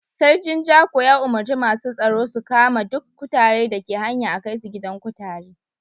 Sarkin Jako ya umurce masun tsaro su kama duk kutare da ke hanya a'kai su gidan kutare.